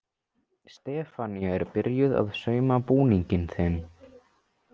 Stefanía er byrjuð að sauma búning á þig.